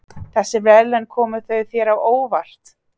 Þessi verðlaun komu þau þér á óvart?